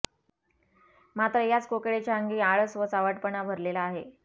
मात्र याच कोकिळेच्या अंगी आळस व चावटपणा भरलेला आहे